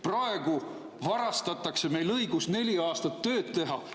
Praegu varastatakse meilt õigus neli aastat tööd teha.